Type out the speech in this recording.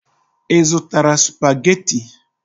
Ị zụtara supagetii?